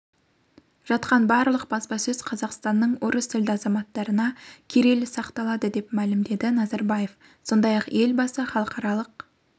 жатқан барлық баспасөз қазақстанның орыс тілді азаматтарына кирилл сақаталады деп мәлімдеді назарбаев сондай-ақ елбасы халықаралық